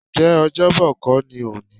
Ǹjẹ́ Ọ́jọ́bọ̀ kó ni òní?